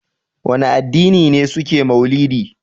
Wane addini ne suke mauludi?